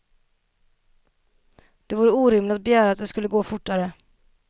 Det vore orimligt att begära att det skulle gå fortare.